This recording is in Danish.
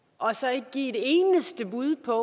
og så ikke giver et eneste bud på